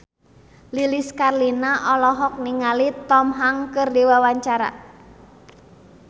Lilis Karlina olohok ningali Tom Hanks keur diwawancara